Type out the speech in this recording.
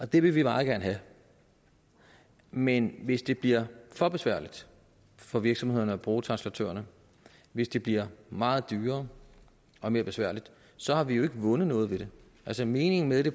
det vil vi meget gerne have men hvis det bliver for besværligt for virksomhederne at bruge translatørerne hvis det bliver meget dyrere og mere besværligt så har vi jo ikke vundet noget ved det altså meningen med det